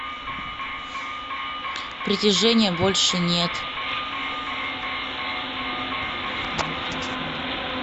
притяжения больше нет